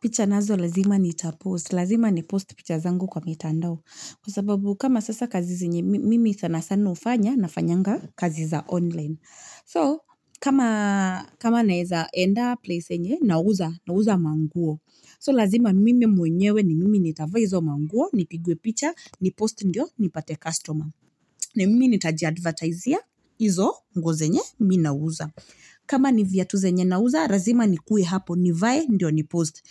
Pichanazo lazima niitapos, lazima ni post pichazangu kwa mitandao kusababu kama sasa kazi zenye mimi sana sano fanya na fanyanga kazi za online kama na eza enda place nye na uza maunguo, lazima mimi muenyewe ni mimi niitava izo maunguo, ni pigue picha, ni post nyo, ni pate customer na mimi ni taji advertise ya, izo mgo zenye, mina uza kama ni viatu zenye na uza, lazima ni kui hapo nivaye, ni post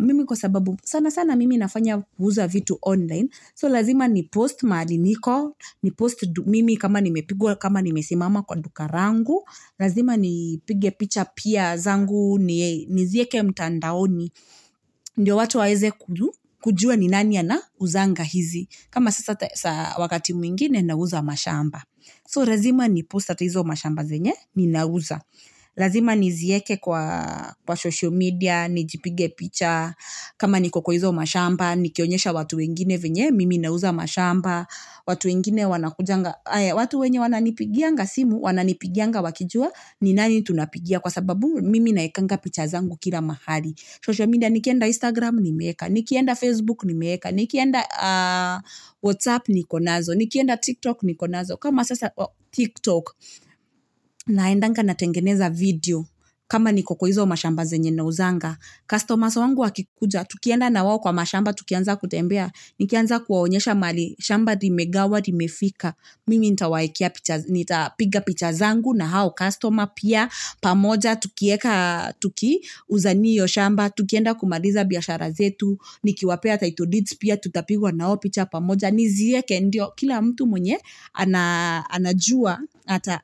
Mimi kusababu sana sana mimi na fanya uza vitu online, so lazima ni post maadini ko, ni post mimi kama ni me pigua, kama ni me simama kwa dukarangu Lazima ni pigue picha piya, zangu ni e, ni zieke mtandao ni, ni watu waze kujua ni nani ana uzanga hizi, kama sasa wakati mingine na uza mashamba So lazima ni post at izo mashamba zenye, ni na uza, lazima ni zieke kwa, kwa social media, ni jipige picha kama ni kuko izo mashamba, ni kionyesha watu wengine vinyai mimi na uza mashamba, watu wengine wana kujanga watu wengine wana nipigianga simu, wana nipigianga wakijua, ni nani tunapigia kwasababu mimi na eka nga pichazangu kila mahali Social media, ni kienda Instagram, ni eka, ni kienda Facebook, ni eka, ni kienda WhatsApp, ni konazo, ni kienda TikTok, ni konazo kama sasa TikTok, naendanga na tengeneza video, kama ni kuko izo mashamba zenye na uzanga Customers wangu wakikuja, tukiena na wawu kwa mashamba, tukienza kutembea, ni kionyesha wanyosha mali, mashamba di megawa, di mefika Mimi ntawaikia pichaz, ni ta piga pichazangu na hao customer piya pamoja, tukieka, tuki uzaniyo mashamba, tukienda kumaliza biyashara zetu ni kiwapia ta itudidzi piya, tutapigwa na hoa picha pamoja, ni zieke ndiyo, kila mtu mwenye, ana jua,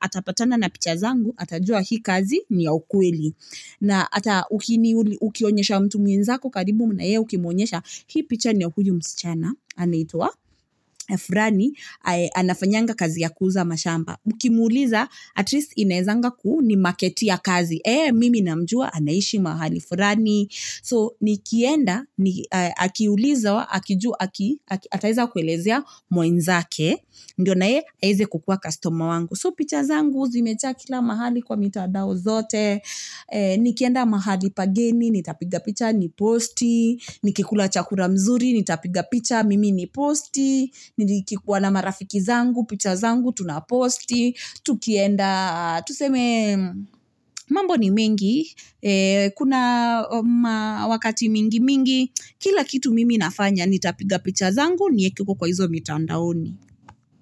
ata patana na pichazangu, ata jua hi kazi ni awu kweli na ata ukini, ukionyesha mtu minzako karibu na ea ukimwenyesha, hi picha ni awkuyu msichana, ana itwa Efrani, ana fanyanga kazi ya kuuza mashamba, ukimuliza, at least inaizanga kuu ni marketiya kazi, ee, mimi na mjuwa ana ishi mahali So, ni kienda, ni, akiulizo, akiju, aki, aki, ata aiza kulezia mwenzake, ndiyo na ea aize kukuwa customer wangu So, pichazangu, zimecha kila mahali kwa mitadao zote, ee, ni kienda mahali pageni, ni ta piga picha, ni posti ni kikula chakura mzuri, ni ta piga picha, mimi ni posti, nidi kikuwa na marafiki zangu, pichazangu, tunaposti, tukienda, tuseme mambo ni mengi, kuna wakati mingi mingi, kila kitu mimi na fanya, ni ta piga pichazangu, ni eki kukoizomitandaoni.